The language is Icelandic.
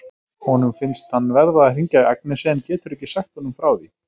Honum finnst hann verða að hringja í Agnesi en getur ekki sagt honum frá því.